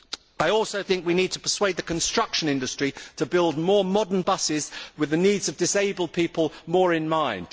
I also think we need to persuade the construction industry to build more modern buses with the needs of disabled people more in mind.